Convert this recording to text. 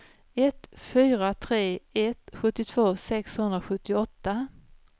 ett fyra tre ett sjuttiotvå sexhundrasjuttioåtta